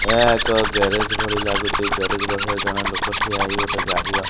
ଏହା ଏକ ଗ୍ୟାରେଜ ଭଳି ଲାଗୁଚି ଗ୍ୟାରେଜ ପାଖରେ ଜଣେ ଲୋକ ଠିଆ ହେଇ ଗୋଟେ ଗାଡ଼ି ର।